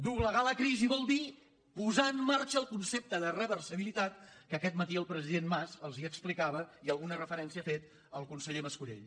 doblegar la crisi vol dir posar en mar·xa el concepte de reversibilitat que aquest matí el pre·sident mas els explicava i alguna referència hi ha fet el conseller mas·colell